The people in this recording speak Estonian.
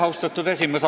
Austatud esimees!